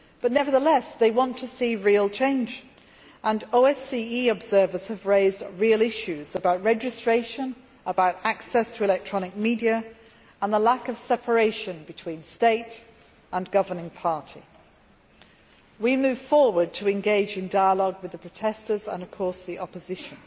Nevertheless, they want to see real change and OSCE observers have raised real issues about registration, about access to electronic media, and about the lack of separation between state and governing party. We are moving forward to engage in dialogue with the protestors and, of course, the opposition.